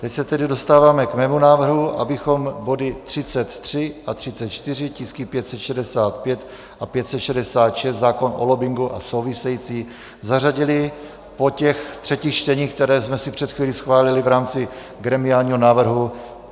Teď se tedy dostáváme k mému návrhu, abychom body 33 a 34, tisky 565 a 566, zákon o lobbingu a související, zařadili po těch třetích čteních, která jsme si před chvílí schválili v rámci gremiálního návrhu.